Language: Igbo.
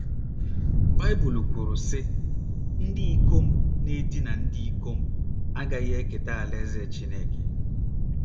Baịbụl kwuru, sị: “ Ndị ikom na - edina ndị ikom..... agaghị eketa alaeze Chineke. ”